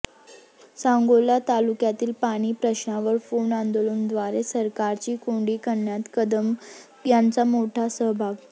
सांगोला तालुक्यातील पाणी प्रश्नावर फोन आंदोलनाद्वारे सरकारची कोंडी करण्यात कदम यांचा मोठा सहभाग